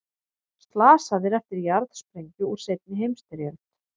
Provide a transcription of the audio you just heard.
Slasaðir eftir jarðsprengju úr seinni heimsstyrjöld